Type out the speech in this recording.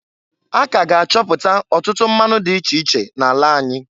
A k'aga achọpụtọ ọtụtụ mmanụ dị iche iche n'ala anyị.